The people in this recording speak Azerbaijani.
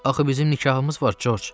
Axı bizim nikahımız var, Corc.